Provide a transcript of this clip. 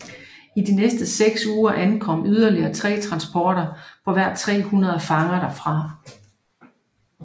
I de næste seks uger ankom yderligere tre transporter på hver tre hundrede fanger derfra